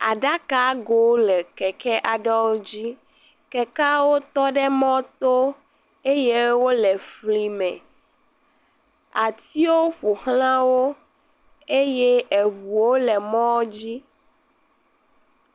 Aɖakagowo le keke aɖewo dzi, kekeawo tɔ ɖe mɔ to eye wole fli me. Atiwo ƒo xlz wo eye eŋuwo le mɔdzi.